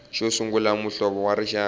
xo sungula muhlovo wa rixaka